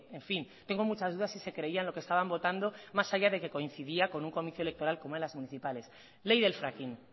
en fin tengo muchas dudas si se creían lo que estaban votando más allá de que coincidía con un comicio electoral como eran las municipales ley del fracking